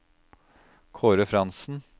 Kaare Frantzen